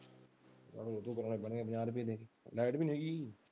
light ਨਹੀਂ ਹੈਗੀ।